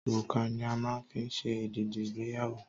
Òrùka ni a máa ń fi ṣe èdìdí ìgbéyàwó